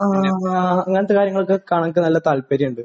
ആഹ്. അങ്ങനത്തെ കാര്യങ്ങളൊക്കെ കാണാൻ എനിക്ക് നല്ല താല്പര്യമുണ്ട്.